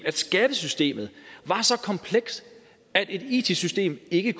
skattesystemet var så komplekst at et it system ikke